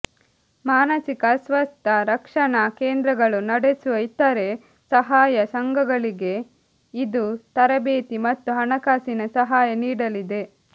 ಮಾನಸಿಕ ಅಸ್ವಸ್ಥ ರಕ್ಷಣಾ ಕೇಂದ್ರಗಳು ನಡೆಸುವ ಇತರೆ ಸಹಾಯ ಸಂಘಗಳಿಗೆ ಇದು ತರಬೇತಿ ಮತ್ತು ಹಣಕಾಸಿನ ಸಹಾಯ ನೀಡಲಿದೆ